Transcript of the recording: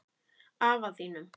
Afa þínum?